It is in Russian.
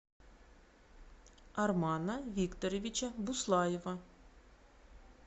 армана викторовича буслаева